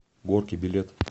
горки билет